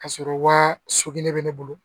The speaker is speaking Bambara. Ka sɔrɔ wa sogelen bɛ ne bolo